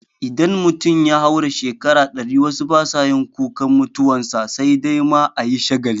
Idan mutum ya haura shekaru ɗari wasu basa yin kukan mutuwan sa sai dai ma ayi shagali